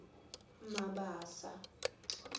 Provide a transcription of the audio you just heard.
mabasa